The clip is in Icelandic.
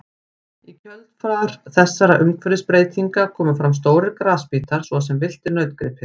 Í kjölfar þessara umhverfisbreytinga komu fram stórir grasbítar svo sem villtir nautgripir.